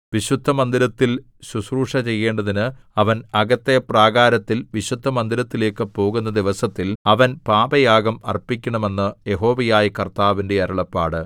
വിശുദ്ധമന്ദിരത്തിൽ ശുശ്രൂഷ ചെയ്യേണ്ടതിന് അവൻ അകത്തെ പ്രാകാരത്തിൽ വിശുദ്ധമന്ദിരത്തിലേക്കു പോകുന്ന ദിവസത്തിൽ അവൻ പാപയാഗം അർപ്പിക്കണം എന്ന് യഹോവയായ കർത്താവിന്റെ അരുളപ്പാട്